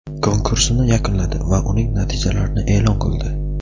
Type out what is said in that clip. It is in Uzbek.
konkursini yakunladi va uning natijalarini e’lon qildi.